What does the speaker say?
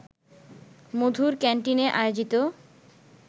মধুর ক্যান্টিনে আয়োজিত